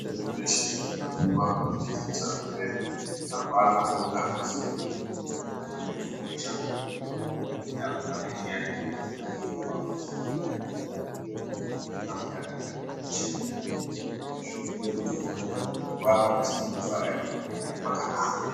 Zveshe zveshe zvinongodiwa kuti zvekushandisa zvivepo apana paungazoziva kuti uyu nyama dzake dzinopisha zvakadini usina kutsvake chiyani chinoiswa mugwapa kuti unopisha zvakadini zvinoitira kuti yapadhuze nekufa ere kana kuti achiri pakanaka.